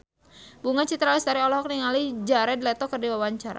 Bunga Citra Lestari olohok ningali Jared Leto keur diwawancara